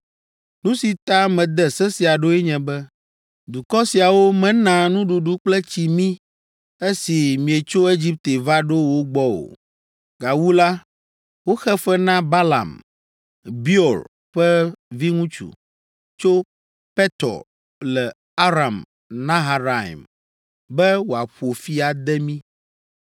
Nu si ta mede se sia ɖoe nye be, dukɔ siawo mena nuɖuɖu kple tsi mí esi mietso Egipte va ɖo wo gbɔ o. Gawu la, woxe fe na Balaam, Beor ƒe viŋutsu, tso Petor le Aram Naharaim be wòaƒo fi ade mí.